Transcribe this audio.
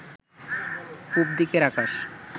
পূবদিকের আকাশ